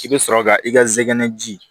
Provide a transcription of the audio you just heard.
I bɛ sɔrɔ ka i ka zɛgɛnɛ ji